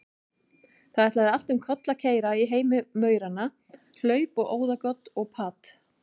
Það ætlaði allt um koll að keyra í heimi mauranna, hlaup og óðagot og pat.